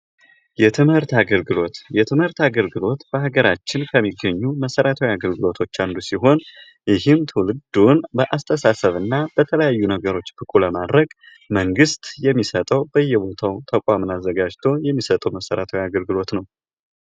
የትምህርት አገልግሎት ፦ የትምህርት አገልግሎት በሀገራችን ከሚገኙ መሰረታዊ አገልግሎቶች አንዱ ሲሆን ይህም ትውልዱን በአስተሳሰብ እና በተለያዩ ነገሮች ብቁ ለማድረግ መንግስት የሚሰጠው ፤ በየቦታው ተቋም አዘጋጅቶ የሚሰጠው መሰረታዊ አገልግሎት ነው ።